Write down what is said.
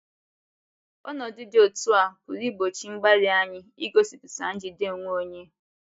Ọnọdụ dị otú a pụrụ ịgbochi mgbalị anyị igosipụta njide onwe onye.